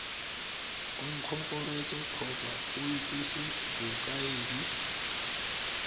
ngongorego kgotsa go itsise bokaedi